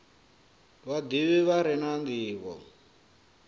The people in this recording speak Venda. vhadivhi vha re na ndivho